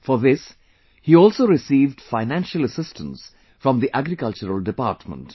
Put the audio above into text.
For this, he also received financial assistance from the Agricultural department